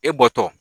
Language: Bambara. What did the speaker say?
E bɔtɔ